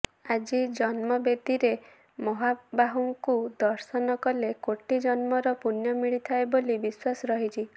ଆଜି ଜନ୍ମବେଦୀରେ ମହାବାହୁଙ୍କୁ ଦର୍ଶନ କଲେ କୋଟି ଜନ୍ମର ପୂଣ୍ୟ ମିଳିଥାଏ ବୋଲି ବିଶ୍ୱାସ ରହିଛି